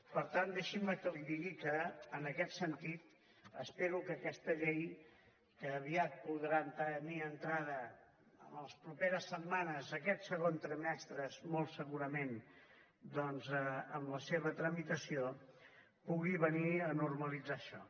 per tant deixi’m que li digui que en aquest sentit espero que aquesta llei que aviat podrà tenir entrada en les properes setmanes aquest segon trimestre molt segurament doncs amb la seva tramitació pugui venir a normalitzar això